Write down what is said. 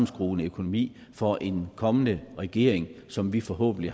skrue en økonomi for en kommende regering som vi forhåbentlig